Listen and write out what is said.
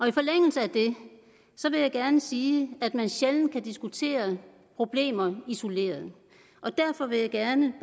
i forlængelse af det vil jeg gerne sige at man sjældent kan diskutere problemer isoleret og derfor vil jeg gerne